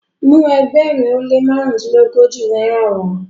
mu ẹgbẹrin o le marundilogoji náírà wa!